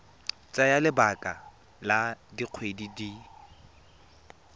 tsaya lebaka la dikgwedi di